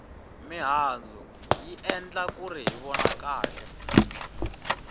mihandzu yi endla kuri hi vona kahle